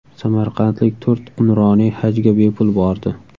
Samarqandlik to‘rt nuroniy Hajga bepul bordi.